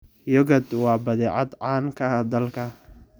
Yogurt waa badeecad caan ka ah dalka.